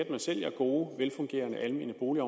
at man sælger gode velfungerende almene boliger